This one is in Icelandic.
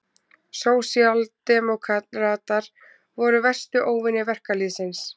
Sósíaldemókratar voru verstu óvinir verkalýðsins.